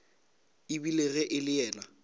ebile ge e le yena